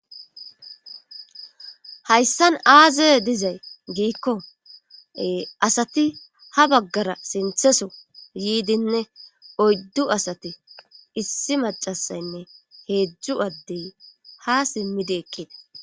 Hayssan aaze dizay giikko asati ha baggara sintheso yiidinne oyddu asati issi macasaynne heedzdzu addey ha simmidi eqqida